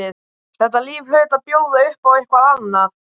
Þetta líf hlaut að bjóða upp á eitthvað annað.